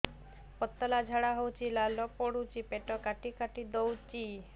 ପତଳା ଝାଡା ହଉଛି ଲାଳ ପଡୁଛି ପେଟ କାଟି କାଟି ଦଉଚି